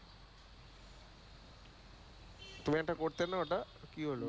তুমি একটা করতে না ঐ টা কি হল?